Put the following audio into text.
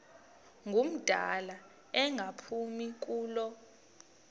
ngumdala engaphumi kulo